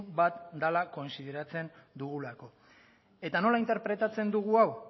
bat dela kontsideratzen dugulako eta nola interpretatzen dugu hau